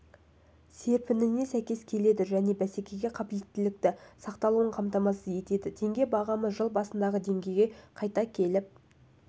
серпініне сәйкес келеді және бәсекеге қабілеттіліктің сақталуын қамтамасыз етеді теңге бағамы жыл басындағы деңгейге қайта келіп